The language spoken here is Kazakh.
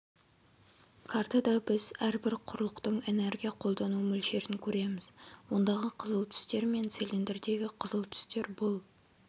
картада біз әрбір құрлықтың энергия қолдану мөлшерін көреміз ондағы қызыл түстер мен цилиндрдегі қызыл түстер бұл